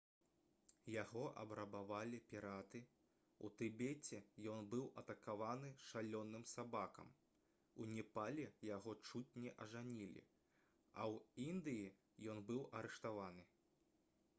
яго абрабавалі піраты у тыбеце ён быў атакаваны шалёным сабакам у непале яго чуць не ажанілі а ў індыі ён быў арыштаваны